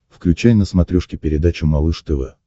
включай на смотрешке передачу малыш тв